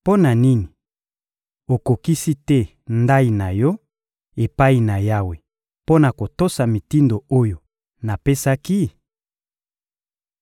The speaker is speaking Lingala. Mpo na nini okokisi te ndayi na yo epai na Yawe mpo na kotosa mitindo oyo napesaki?